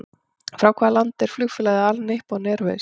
Frá hvaða landi er flugfélagið All Nippon Airways?